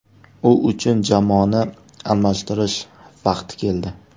U uchun jamoani almashtirish vaqti keldi.